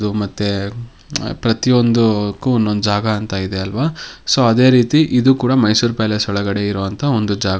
ಅದು ಮತ್ತೆ ಪ್ರತಿಯೊಂದುಕ್ಕೂ ಒಂದೊಂದು ಜಾಗ ಅಂತ ಇದೆ ಅಲ್ವಾ ಸೋ ಅದೇ ರೀತಿ ಇದು ಕೂಡ ಮೈಸೂರ್ ಪ್ಯಾಲೇಸ್ ಒಳಗಡೆ ಇರುವಂತ ಒಂದು ಜಾಗ .